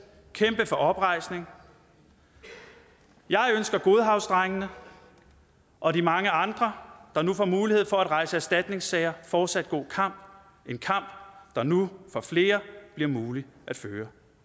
kæmpe for oprejsning jeg ønsker godhavnsdrengene og de mange andre der nu får mulighed for at rejse erstatningssager fortsat god kamp der nu for flere bliver mulig at føre